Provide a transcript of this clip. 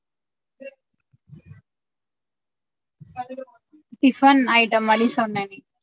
Tiffin item மாறி சொன்னனே